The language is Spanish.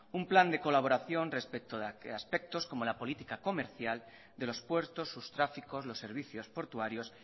un plan de colaboración respecto a aspectos como la política comercial de los puertos sus tráficos los servicios portuarios